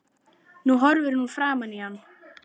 Nú horfir hún framan í hann.